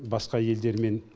басқа елдермен